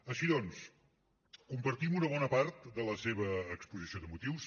així doncs compartim una bona part de la seva exposició de motius